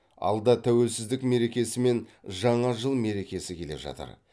алда тәуелсіздік мерекесі мен жаңа жыл мерекесі келе жатыр